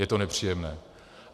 Je to nepříjemné.